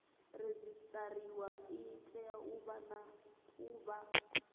redzisiṱariwa i tea u vha